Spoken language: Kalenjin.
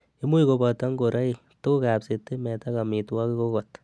Imuch koboto ng'oroik, tuguk ab sitimet ak amitwogik okot.